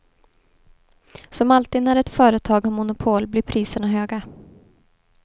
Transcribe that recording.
Som alltid när ett företag har monopol blir priserna höga.